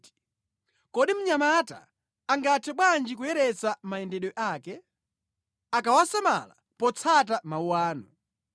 Kodi mnyamata angathe bwanji kuyeretsa mayendedwe ake? Akawasamala potsata mawu anu.